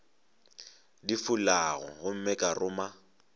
di fulago gomme ka ruma